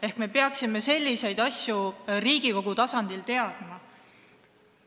Ehk me peaksime selliseid asju Riigikogus teadma.